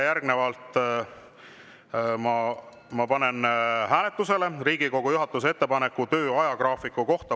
Järgnevalt ma panen hääletusele Riigikogu juhatuse ettepaneku töö ajagraafiku kohta.